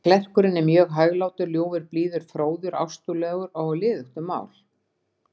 Klerkurinn er mjög hæglátur, ljúfur, blíður, fróður, ástúðlegur og á liðugt um mál.